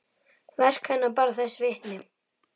Verk hennar bera þess vitni.